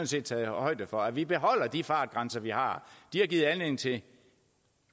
set taget højde for at vi beholder de fartgrænser vi har de har givet anledning til